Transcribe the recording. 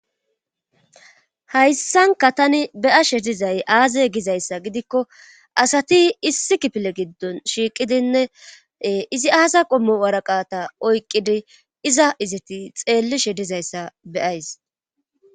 Hayssanka tani beyashe dizay aaze gizayssa gidikko asati issi kipile giddon shiiqidinne izi aasa qommo waraqata oyqqidi iza izati xeellishe dizayssa be7ays.